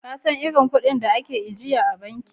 Ka san iri kudin a ke ajiya a banki?